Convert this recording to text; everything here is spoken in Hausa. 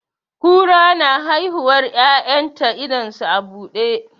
Kura na haihuwar 'ya'yan ta idon su a buɗe.